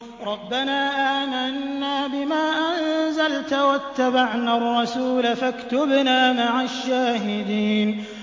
رَبَّنَا آمَنَّا بِمَا أَنزَلْتَ وَاتَّبَعْنَا الرَّسُولَ فَاكْتُبْنَا مَعَ الشَّاهِدِينَ